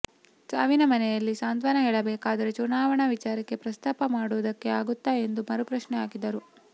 ಸಾವಿನ ಮನೆಯಲ್ಲಿ ಸಾಂತ್ವನ ಹೇಳಬೇಕಾದ್ರೆ ಚುನಾವಣಾ ವಿಚಾರ ಪ್ರಸ್ತಾಪ ಮಾಡೋದಕ್ಕೆ ಆಗುತ್ತ ಎಂದು ಮರುಪ್ರಶ್ನೆ ಹಾಕಿದ್ದಾರೆ